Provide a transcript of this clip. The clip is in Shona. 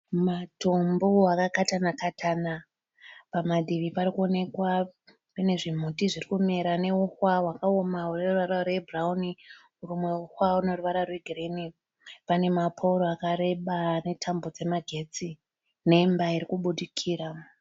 Matombo akakatana katana, pamativi parikuonekwa panezvimuti zviri kumera neuhwa hwakaoma hweruvara rwebhurauni, humwe huhwa hune ruvara rwegirini. Pane mapouro akareba netambo dzemagetsi nemba irikubudikira.